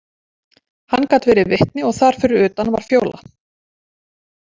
Hann gat verið vitni og þar fyrir utan var Fjóla.